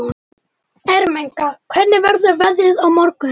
Ermenga, hvernig verður veðrið á morgun?